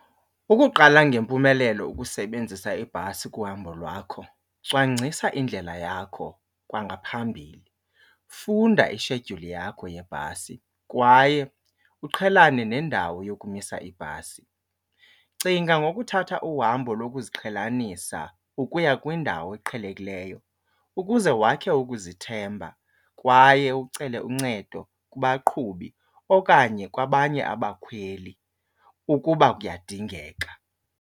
Ukuqala ngempumelelo ukusebenzisa ibhasi kuhambo lwakho cwangcisa indlela yakho kwangaphambili. Funda ishedyuli yakho yebhasi kwaye uqhelane nendawo yokumisa ibhasi. Cinga ngokuthatha uhambo lokuziqhelanisa ukuya kwindawo eqhelekileyo ukuze wakhe ukuzithemba kwaye ucele uncedo kubaqhubi okanye kwabanye abakhweli ukuba kuyadingeka.